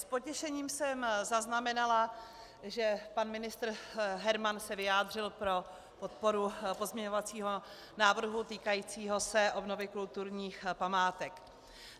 S potěšením jsem zaznamenala, že pan ministr Herman se vyjádřil pro podporu pozměňovacího návrhu týkajícího se obnovy kulturních památek.